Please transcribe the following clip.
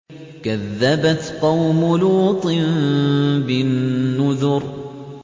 كَذَّبَتْ قَوْمُ لُوطٍ بِالنُّذُرِ